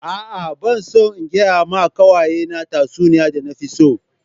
A'a ban son in gaya ma kawaye na tatsuniya da na fi so.